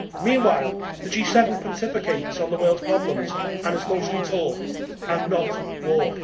Meanwhile, the G7 pontificates on the world's problems and it is mostly talk and not walk.